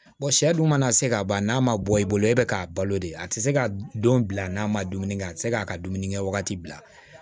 sɛ dun mana se ka ban n'a ma bɔ i bolo e bɛ k'a balo de a tɛ se ka don bila n'a ma dumuni kɛ a tɛ se k'a ka dumuni kɛ wagati bila